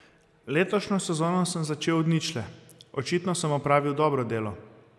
Letošnjo sezono sem začel od ničle, očitno sem opravil dobro delo.